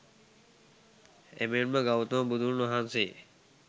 එමෙන්ම ගෞතම බුදුන් වහන්සේ,